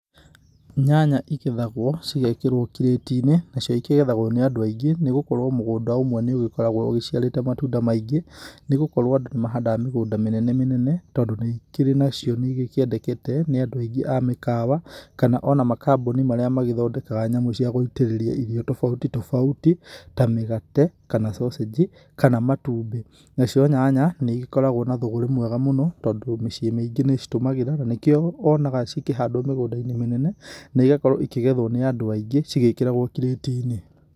Nyanya igethagwo cigekĩrwo kirĩti-inĩ, nacio ikĩgethagwo nĩ andũ aingĩ nĩ gũkorwo mũgũnda ũmwe nĩ ũgĩkoragwo ũciarĩte matunda maingĩ, nĩ gũkorwo andũ mahandaga mĩgũnda mĩnene mĩnene tondũ nĩ ikĩri nacio nĩigĩkĩendekete nĩ andũ aingĩ a mĩkawa kana ona makambuni marĩa magĩthondekaga nyamũ cia gũitĩrĩria irio tofauti tofauti ta mĩgate, kana cocĩnji, kana matumbĩ. Nacio nyanya nĩ igĩkoragwo na thũgũrĩ mwega mũno tondũ mĩciĩ mĩingĩ nĩ citũmagĩra na nĩkio wonaga cikĩhandwo mĩgũnda-inĩ mĩnene na igakorwo ikĩgethwo nĩ andũ aingĩ cigĩkĩragwo kirĩti-inĩ.